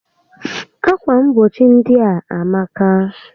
Ákwà mgbochi ndị a amaka